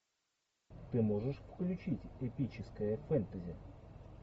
ты можешь включить эпическое фэнтези